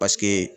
Paseke